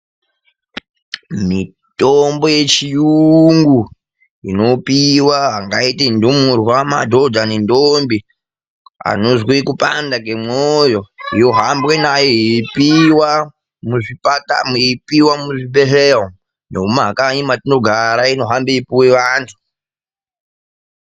Mitombo yechiyungu inopiwa angaite ndumurwa; madhodha; nendombi anozwe kupanda kemwoyo, yohambwe nayo yeipiwa muzvipatara, yeipiwa muzvibhedhleya umu. Nomumakanyi metinogara inohamba yeipuwe vantu.